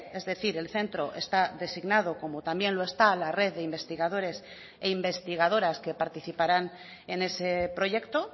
es decir el centro está designado como también lo está la red de investigadores e investigadoras que participarán en ese proyecto